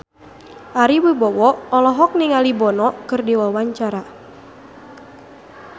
Ari Wibowo olohok ningali Bono keur diwawancara